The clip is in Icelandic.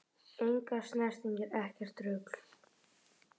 Engar snertingar, ekkert rugl!